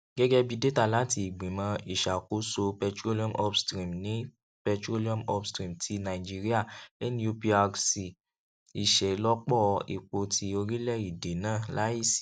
gẹgẹbi data lati igbimọ iṣakoso petroleum upstream ti petroleum upstream ti naijiria N-U-P-R-C iṣelọpọ epo ti orilẹede naa laisi